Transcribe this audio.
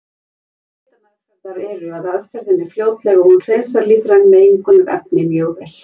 Kostir hitameðferðar eru að aðferðin er fljótleg og hún hreinsar lífræn mengunarefni mjög vel.